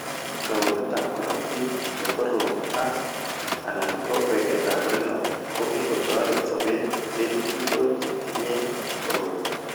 Kaunetab korotik ne korom ak /anan ko weketab renal ko kikotoret sobet eng' biko chetinye koroi.